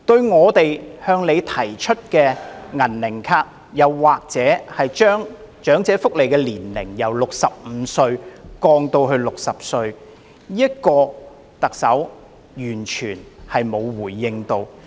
我們曾向她建議推出"銀齡卡"，以及將長者合資格申請福利的年齡從65歲降至60歲，但特首完全沒有回應。